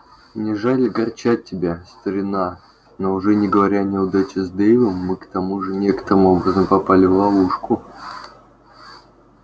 мне жаль огорчать тебя старина но уже не говоря о неудаче с дейвом мы к тому же некоторым образом попали в ловушку